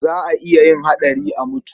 Za a iya yin haɗari a mutu.